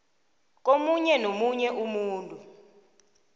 komunye nomunye umuntu